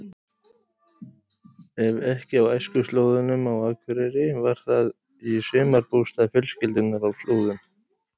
Ef ekki á æskuslóðunum á Akureyri var það í sumarbústað fjölskyldunnar á Flúðum.